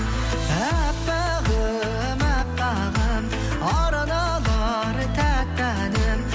әппағым әппағым арналар тәтті әнім